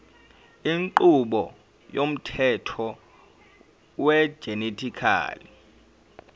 inqubo yomthetho wegenetically